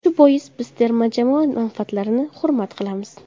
Shu bois, biz terma jamoa manfaatlarini hurmat qilamiz.